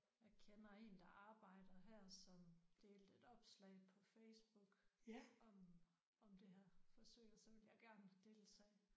Jeg kender en der arbejder her som delte et opslag på Facebook om om det her forsøg og så ville jeg gerne deltage